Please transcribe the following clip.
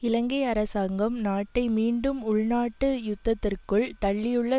இலங்கை அரசாங்கம் நாட்டை மீண்டும் உள்நாட்டு யுத்தத்திற்குள் தள்ளியுள்ள